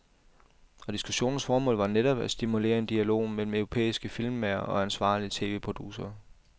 Og diskussionens formål var netop at stimulere en dialog mellem europæiske filmmagere og ansvarlige tv-producere.